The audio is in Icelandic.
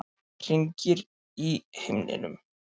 Hringir í himninum.